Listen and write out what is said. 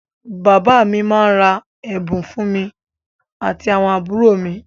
Bàbá mi máá ń ra ẹ̀bùn fún èmi àti àwọn àbúrò mi